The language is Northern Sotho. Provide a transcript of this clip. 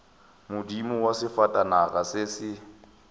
modumo wa sefatanaga se se